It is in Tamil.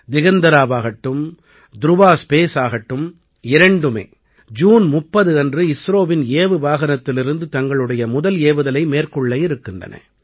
திகந்தராவாகட்டும் துருவா ஸ்பேஸ் ஆகட்டும் இரண்டுமே ஜூன் 30 அன்று இஸ்ரோவின் ஏவு வாகனத்திலிருந்து தங்களுடைய முதல் ஏவுதலை மேற்கொள்ள இருக்கின்றன